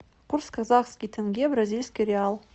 курс казахский тенге бразильский реал